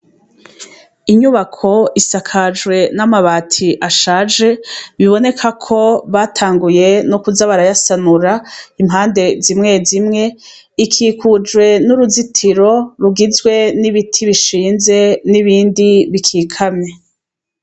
Inyubako isakajwe n'amabati ashaje biboneka ko batanguye no kuza barayasanura impande zimwe zimwe ikikujwe n'uruzitiro rugizwe n'ibiti bishinze n'ibindi bikikame.